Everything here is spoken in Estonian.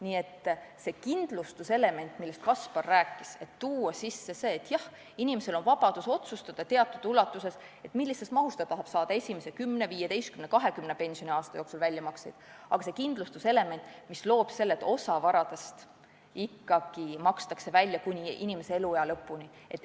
Nii et võiks sees olla see kindlustuselement, millest Kaspar rääkis: inimesel on vabadus otsustada, millises mahus ta tahab saada esimese 10, 15, 20 pensioniaasta jooksul väljamakseid, aga on ka kindlustuselement, mis tagab selle, et osa varast ikkagi makstakse välja kuni inimese elu lõpuni.